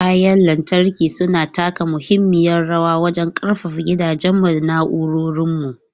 Kayan lantarki suna taka muhimmiyar rawa wajen ƙarfafa gidajenmu da na'urorinmu.